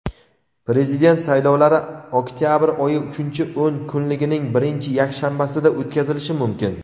Prezident saylovlari oktyabr oyi uchinchi o‘n kunligining birinchi yakshanbasida o‘tkazilishi mumkin.